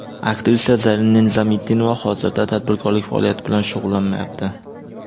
Aktrisa Zarina Nizomiddinova hozirda tadbirkorlik faoliyati bilan shug‘ullanmayapti.